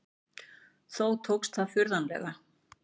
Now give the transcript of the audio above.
Þó tókst það furðanlega.